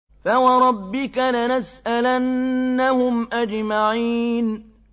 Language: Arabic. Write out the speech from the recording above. فَوَرَبِّكَ لَنَسْأَلَنَّهُمْ أَجْمَعِينَ